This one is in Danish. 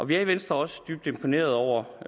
vi er i venstre også dybt imponeret over